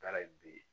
Taara ye bi